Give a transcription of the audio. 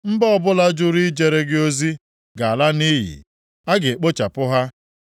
Mba ọbụla jụrụ ijere gị ozi ga-ala nʼiyi; a ga-ekpochapụ ha.